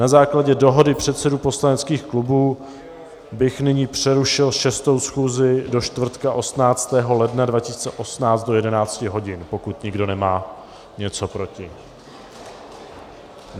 Na základě dohody předsedů poslaneckých klubů bych nyní přerušil 6. schůzi do čtvrtka 18. ledna 2018 do 11 hodin, pokud nikdo nemá něco proti.